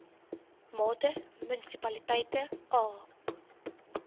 mate munisipaliteite a